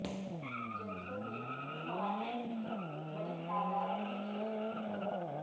جلسے میں خواتین کی بڑی تعداد بھی شریک ہے